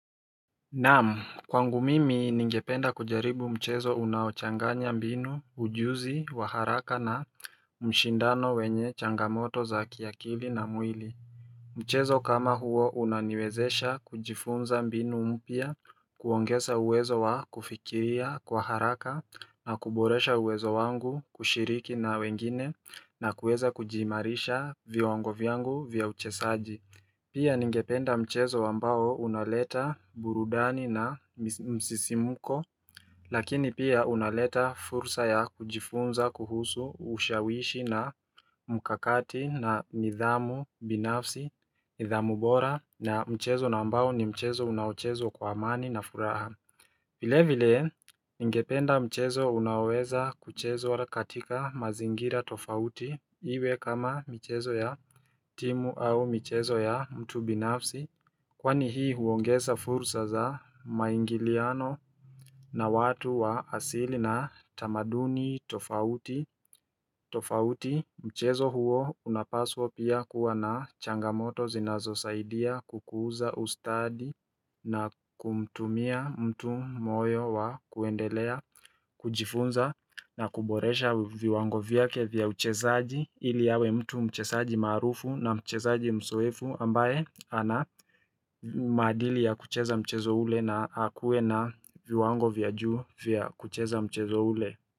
Naam kwangu mimi ningependa kujaribu mchezo unaochanganya mbinu ujuzi wa haraka na mshindano wenye changamoto za kiakili na mwili Mchezo kama huo unaniwezesha kujifunza mbinu mpya kuongeza uwezo wa kufikiria kwa haraka na kuboresha uwezo wangu kushiriki na wengine na kuweza kujimarisha Vyongo vyangu vya uchesaji Pia ningependa mchezo wambao unaleta burudani na msisimuko Lakini pia unaleta fursa ya kujifunza, kuhusu, ushawishi na mkakati na nidhamu, binafsi, nidhamu bora na mchezo nambao ni mchezo unaochezo kwa amani na furaha vile vile ingependa mchezo unaweza kuchezwa katika mazingira tofauti iwe kama mchezo ya timu au mchezo ya mtu binafsi Kwani hii huongeza fursa za maingiliano na watu wa asili na tamaduni tofauti tofauti mchezo huo unapaswa pia kuwa na changamoto zinazo saidia kukuuza ustadi na kumtumia mtu moyo wa kuendelea kujifunza na kuboresha viwango vyake vya uchezaji ili awe mtu mcheazji marufu na mchezaji mzoefu ambaye ana maadili ya kucheza mchezo ule na akuwe na viwango vyajuu vya kucheza mchezo ule.